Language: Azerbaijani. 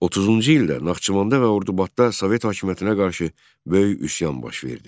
30-cu ildə Naxçıvanda və Ordubadda Sovet hakimiyyətinə qarşı böyük üsyan baş verdi.